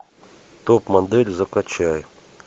топ модель закачай